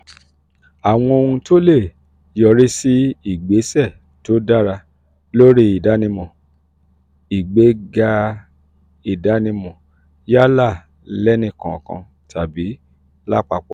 àwọn ohun tó lè yọrí sí ìgbésẹ̀ tó dára lórí ìdánimọ̀/ìgbéga ìdánimọ̀ yálà lẹ́nìkọ̀ọ̀kan tàbí lápapọ̀